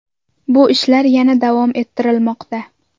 Bu ishlar yana davom ettirilmoqda.